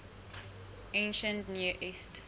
ancient near east